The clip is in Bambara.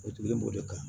O tugulen b'o de kan